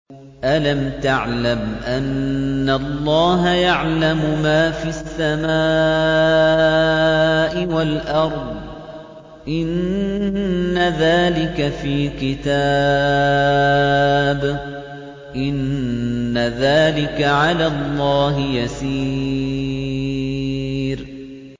أَلَمْ تَعْلَمْ أَنَّ اللَّهَ يَعْلَمُ مَا فِي السَّمَاءِ وَالْأَرْضِ ۗ إِنَّ ذَٰلِكَ فِي كِتَابٍ ۚ إِنَّ ذَٰلِكَ عَلَى اللَّهِ يَسِيرٌ